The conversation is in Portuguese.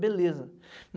Beleza.